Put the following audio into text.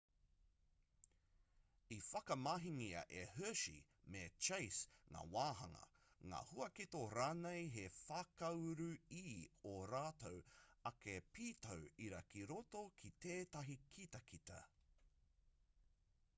i whakamahingia e hershey me chase ngā wāhanga ngā huaketo rānei hei whakauru i ō rātou ake pītau ira ki roto ki tētahi kitakita